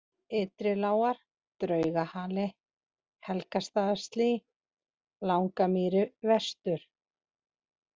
Ytrilágar, Draugahali, Helgastaðaslý, Langamýri Vestur